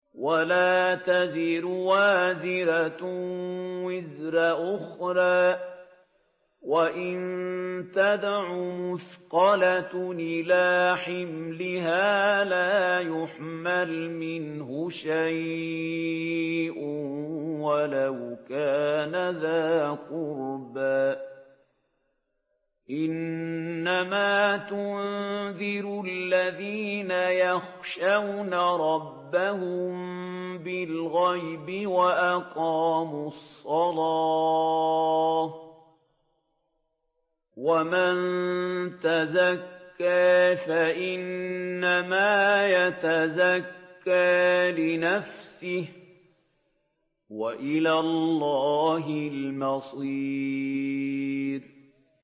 وَلَا تَزِرُ وَازِرَةٌ وِزْرَ أُخْرَىٰ ۚ وَإِن تَدْعُ مُثْقَلَةٌ إِلَىٰ حِمْلِهَا لَا يُحْمَلْ مِنْهُ شَيْءٌ وَلَوْ كَانَ ذَا قُرْبَىٰ ۗ إِنَّمَا تُنذِرُ الَّذِينَ يَخْشَوْنَ رَبَّهُم بِالْغَيْبِ وَأَقَامُوا الصَّلَاةَ ۚ وَمَن تَزَكَّىٰ فَإِنَّمَا يَتَزَكَّىٰ لِنَفْسِهِ ۚ وَإِلَى اللَّهِ الْمَصِيرُ